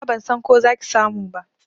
Nima ban san ko za ki samu ba.